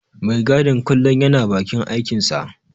Mai gadin kullum yana bakin aikinsa.